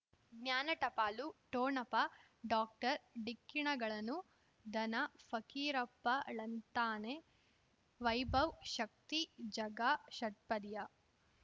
ಜ್ಞಾನ ಟಪಾಲು ಠೊಣಪ ಡಾಕ್ಟರ್ ಢಿಕ್ಕಿ ಣಗಳನು ಧನ ಫಕೀರಪ್ಪ ಳಂತಾನೆ ವೈಭವ್ ಶಕ್ತಿ ಝಗಾ ಷಟ್ಪದಿಯ